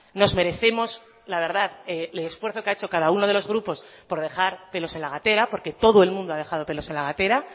nos merecemos la verdad el esfuerzo que ha hecho cada uno de los grupos por dejar pelos en la gatera porque todo el mundo ha dejado pelos en la gatera